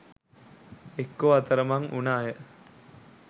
එක්කෝ අතරමං උන අය